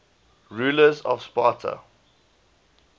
rulers of sparta